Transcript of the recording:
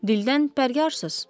Dildən pərgar siz.